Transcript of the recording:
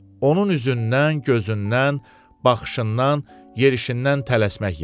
Onun üzündən, gözündən, baxışından, yerişindən tələsmək yağır.